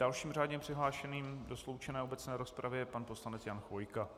Dalším řádně přihlášeným do sloučené obecné rozpravy je pan poslanec Jan Chvojka.